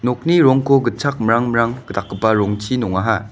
nokni rongko gitchakmrangmrang dakgipa rongchi nongaha.